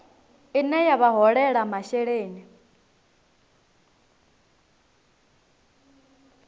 ine ya vha holela masheleni